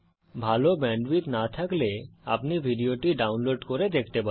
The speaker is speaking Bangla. ভাল ব্যান্ডউইডথ না থাকলে আপনি ভিডিওটি ডাউনলোড করে দেখতে পারেন